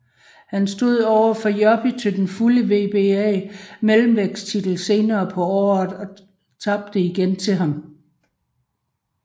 Han stod overfor Joppy til den fulde WBA mellemvægt titel senere på året og tabte igen til ham